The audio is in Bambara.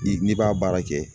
Ni n'i b'a baara kɛ